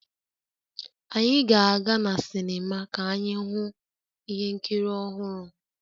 Anyị ga-aga na sinima ka anyị hụ ihe nkiri ọhụrụ